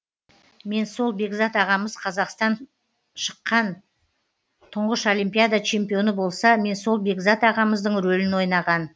мен сол бекзат ағамыз қазақстан шыққан тұңғыш олимпиада чемпионы болса мен сол бекзат ағамыздың ролін ойнаған